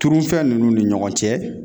Turufɛn nunnu ni ɲɔgɔn cɛ